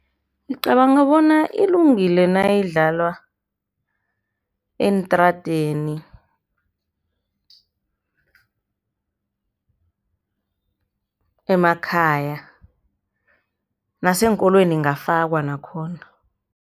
Ngicabanga bona ilungile nayidlalwa eentradeni, emakhaya naseenkolweni ingafakwa nakhona.